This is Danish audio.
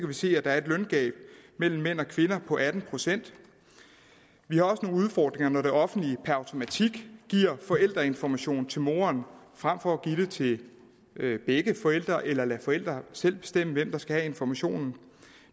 vi se at der er et løngab mellem mænd og kvinder på atten procent vi har også nogle udfordringer når det offentlige per automatik giver forældreinformation til moren frem for at give det til begge forældre eller lade forældre selv bestemme hvem der skal have informationen